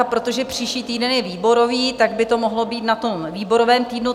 A protože příští týden je výborový, tak by to mohlo být na tom výborovém týdnu.